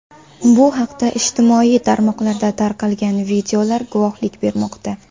Bu haqda ijtimoiy tarmoqlarda tarqalgan videolar guvohlik bermoqda.